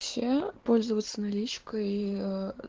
все пользоваться наличкой и ээ